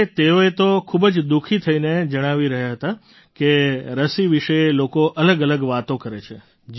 અરે તેઓ તો ખૂબ જ દુઃખી થઈને જણાવી રહ્યા હતા કે રસી વિશે લોકો અલગઅલગ વાતો કરે છે